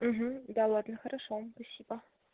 да ладно хорошо спасибо